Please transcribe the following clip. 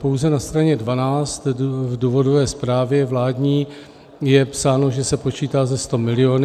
Pouze na straně 12 v důvodové zprávě vládní je psáno, že se počítá se sto miliony.